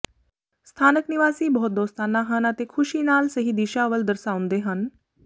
ਸਥਾਨਕ ਨਿਵਾਸੀ ਬਹੁਤ ਦੋਸਤਾਨਾ ਹਨ ਅਤੇ ਖੁਸ਼ੀ ਨਾਲ ਸਹੀ ਦਿਸ਼ਾ ਵੱਲ ਦਰਸਾਉਂਦੇ ਹਨ